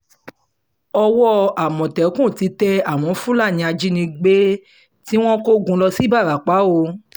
owó àmọ̀tẹ́kùn ti tẹ àwọn fúlàní ajínigbé tí wọ́n ń kógun lọ sìbarapá o o